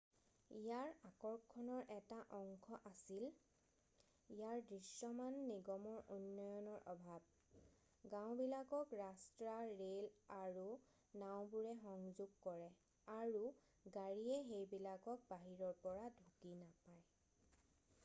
ইয়াৰ আকৰ্ষণৰ এটা অংশ আছিল ইয়াৰ দৃশ্যমান নিগমৰ উন্নয়নৰ অভাৱ গাওঁবিলাকক ৰাস্তা ৰে'ল আৰু নাওঁবোৰে সংযোগ কৰে আৰু গাড়ীয়ে সেইবিলাকক বাহিৰৰ পৰা ঢুকি নাপায়